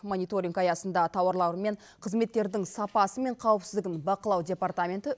мониторинг аясында тауарлар мен қызметтердің сапасы мен қауіпсіздігін бақылау департаменті